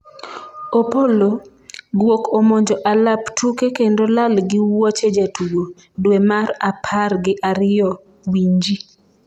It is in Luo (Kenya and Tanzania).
Opolo:guok omonjo alap tuke kendo lal gi wuoche jatugo ,dwe mar apar gi ariyo winji